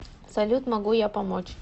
салют могу я помочь